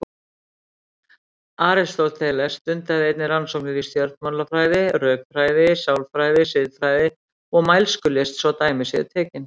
Aristóteles stundaði einnig rannsóknir í stjórnmálafræði, rökfræði, sálfræði, siðfræði og mælskulist svo dæmi séu tekin.